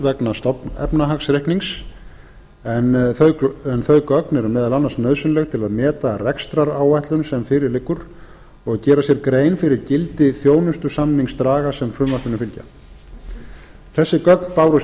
vegna stofnefnahagsreiknings en þau eru meðal annars nauðsynleg til að meta rekstraráætlun sem fyrir liggur og gera sér grein fyrir gildi þjónustusamningsdraga sem frumvarpinu fylgja þessi gögn bárust